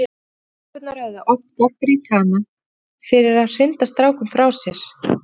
Stelpurnar höfðu oft gagnrýnt hana fyrir að hrinda strákum frá sér.